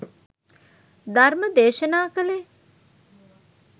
ධර්ම දේශනා කළේ.